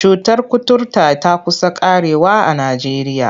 Cutar kuturta ta ƙusa ƙarewa a Najeriya.